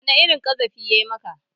Wani irin ƙazafi ya maka?